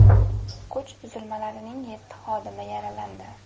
Kuch tuzilmalarining yetti xodimi yaralandi.